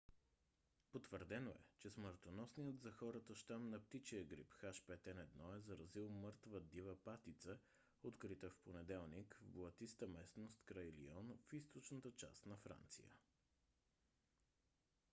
потвърдено е че смъртоносният за хората щам на птичия грип h5n1 е заразил мъртва дива патица открита в понеделник в блатиста местност край лион в източната част на франция